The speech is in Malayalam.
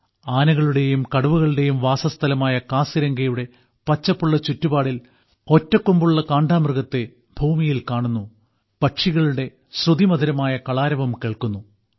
ആനകളുടെയും കടുവകളുടെയും വാസസ്ഥലമായ കാസിരംഗയുടെ പച്ചപ്പുള്ള ചുറ്റുപാടിൽ ഒറ്റക്കൊമ്പുള്ള കാണ്ടാമൃഗത്തെ ഭൂമിയിൽ കാണുന്നു പക്ഷികളുടെ ശ്രുതിമധുരമായ കളാരവം കേൾക്കുന്നു